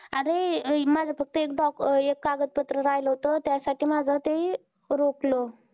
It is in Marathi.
अरे माझ फक्त एक documnet एक कागद पत्र राहील होत त्यासाठी माझ ते रोखलं